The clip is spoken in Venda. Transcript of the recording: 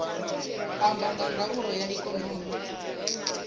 amba nga ndaulo ya ikonomi